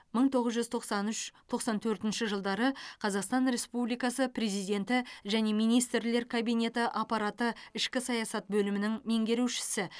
мың тоғыз жүз тоқсан үш тоқсан төртінші жылдары қазақстан республикасы президенті және министрлер кабинеті аппараты ішкі саясат бөлімінің меңгерушісі